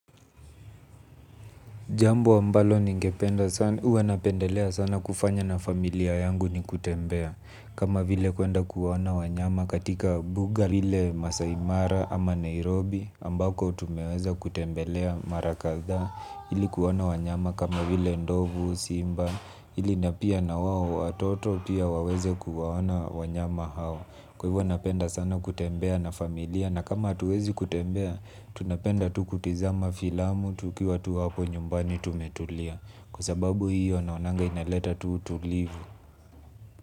Jambo ambalo huwa napendelea sana kufanya na familia yangu ni kutembea. Kama vile kuenda kuona wanyama katika mbuga ile Masaimara ama Nairobi ambako tumeweza kutembelea mara kadhaa ili kuona wanyama kama vile ndovu, simba ili na pia na wao watoto pia waweze kuwaona wanyama hao. Kwa hivo napenda sana kutembea na familia. Na kama hatuwezi kutembea, tunapenda tu kutizama filamu tukiwa tu hapo nyumbani tumetulia. Kwa sababu hiyo naonanga inaleta tu utulivu.